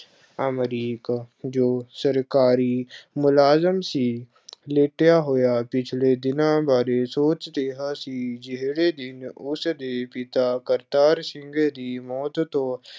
ਅਮਰੀਕ, ਜੋ ਸਰਕਾਰੀ ਮੁਲਾਜ਼ਮ ਸੀ ਲੇਟਿਆ ਹੋਇਆ ਪਿਛਲੇ ਦਿਨਾਂ ਬਾਰੇ ਸੋਚ ਰਿਹਾ ਸੀ, ਜਿਹੜੇ ਦਿਨ ਉਸ ਦੇ ਪਿਤਾ ਕਰਤਾਰ ਸਿੰਘ ਦੀ ਮੌਤ ਤੋਂ